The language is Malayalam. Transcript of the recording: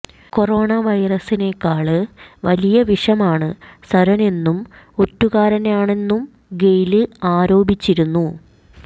കൊറോണ വൈറസിനേക്കാള് വലിയ വിഷമാണ് സര്വനെന്നും ഒറ്റുകാരനാണെന്നും ഗെയ്ല് ആരോപിച്ചിരുന്നു